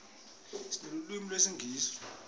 sinelulwimi lesingisi